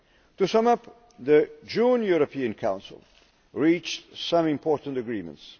To sum up, the June European Council reached some important agreements.